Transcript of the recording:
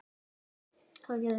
Tugir létust í námuslysi